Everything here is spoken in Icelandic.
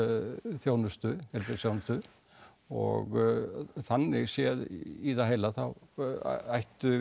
þjónustu heilbrigðisþjónustu og þannig séð í það heila þá ætti